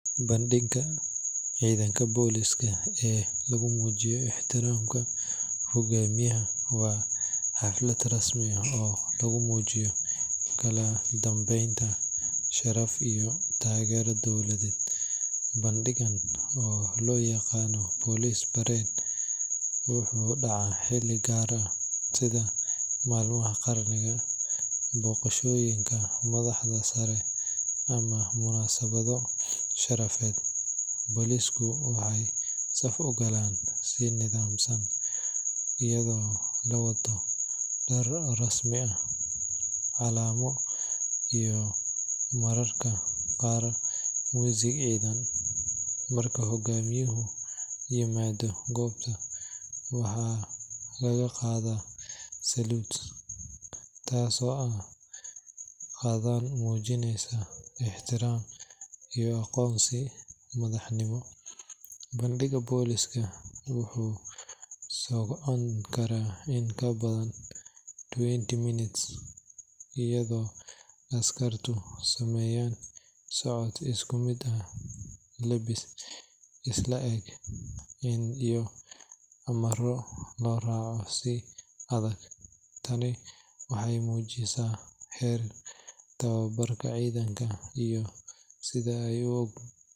Bandhigga ciidanka booliiska ee lagu muujiyo ixtiraamka hoggaamiyaha waa xaflad rasmi ah oo lagu muujiyaa kala dambeyn, sharaf iyo taageero dowladeed. Bandhiggan oo loo yaqaan police parade wuxuu dhacaa xilli gaar ah sida maalmaha qaranimada, booqashooyinka madaxda sare ama munaasabado sharafeed. Booliisku waxay saf u galaan si nidaamsan, iyadoo la wato dhar rasmi ah, calamo iyo mararka qaarba muusig ciidan. Marka hoggaamiyuhu yimaado goobta, waxaa laga qaadaa salute kaasoo ah dhaqan muujinaya ixtiraam iyo aqoonsi madaxnimo. Bandhigga booliiska wuxuu socon karaa in ka badan twenty minutes iyadoo askartu sameynayaan socod isku mid ah, lebbis is le’eg, iyo amarro loo raaco si adag. Tani waxay muujisaa heerka tababarka ciidanka iyo sida ay .